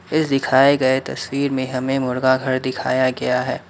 इस दिखाए गए तस्वीर में हमें मुर्गा घर दिखाया गया है।